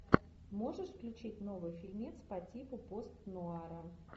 можешь включить новый фильмец по типу пост нуара